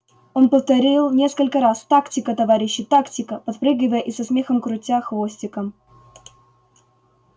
он повторил несколько раз тактика товарищи тактика подпрыгивая и со смехом крутя хвостиком